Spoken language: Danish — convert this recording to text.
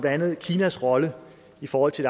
andet kinas rolle i forhold til